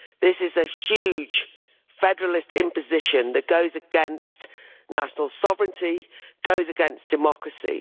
This is a huge federalist imposition that goes against national sovereignty and goes against democracy.